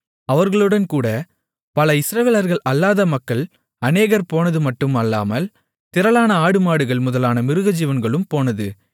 அவர்களுடன் கூடப் பல இஸ்ரவேலர்கள் அல்லாத மக்கள் அநேகர் போனதுமட்டுமல்லால் திரளான ஆடுமாடுகள் முதலான மிருகஜீவன்களும் போனது